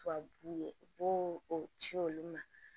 Tubabu ye u b'o ci olu ma